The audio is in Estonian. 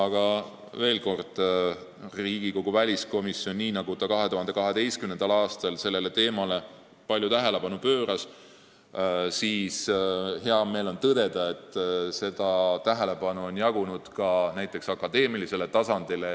Ja veel: Riigikogu väliskomisjonil, kes 2012. aastal sellele teemale palju tähelepanu pööras, on hea meel tõdeda, et seda tähelepanu on jagunud ka näiteks akadeemilisele tasandile.